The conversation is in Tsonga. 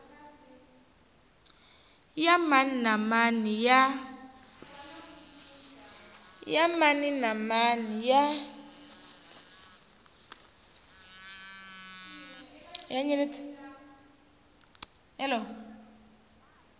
ya mani na mani ya